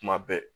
Kuma bɛɛ